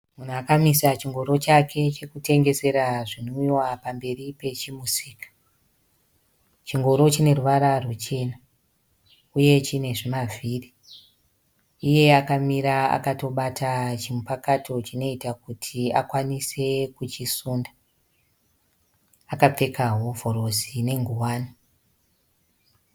Munhu akamisa chingoro chake chekutengesera zvinwiwa pamberi emusika chingoro chine ruvara ruchena uye chine zvimavhiri. Iye akamira akabata chimupakato chinoita kuti akwanise kuchisunda akapfekao hovhorosi ne ngowani